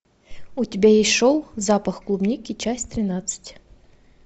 у тебя есть шоу запах клубники часть тринадцать